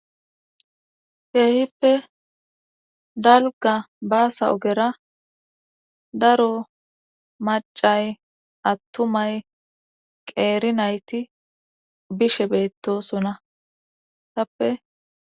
keehippe dalga baasa ogera daro macay attumay qeerinayti bishe beettosona tappe.